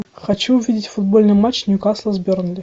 хочу увидеть футбольный матч ньюкасла с бернли